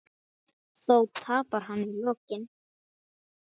Þó tapar hann í lokin.